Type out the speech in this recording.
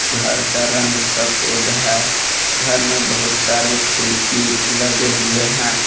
घर का रंग सफेद है घर में बहुत सारे खिड़की लगे हुए हैं।